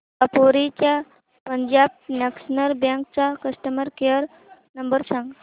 दापोली च्या पंजाब नॅशनल बँक चा customer care number सांग